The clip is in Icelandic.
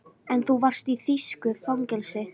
En þú varst í þýsku fangelsi